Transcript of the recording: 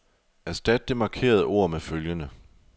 Erstat det markerede ord med følgende.